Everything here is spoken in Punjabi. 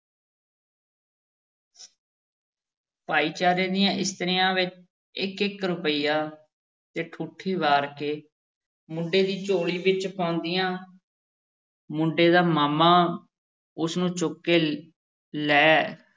ਭਾਈਚਾਰੇ ਦੀਆਂ ਇਸਤਰੀਆਂ ਵੀ ਇੱਕ-ਇੱਕ ਰੁਪਈਆ ਤੇ ਠੂਠੀ ਵਾਰ ਕੇ ਮੁੰਡੇ ਦੀ ਝੋਲੀ ਵਿੱਚ ਪਾਉਂਦੀਆਂ ਮੁੰਡੇ ਦਾ ਮਾਮਾ ਉਸ ਨੂੰ ਚੁੱਕ ਕੇ ਲੈ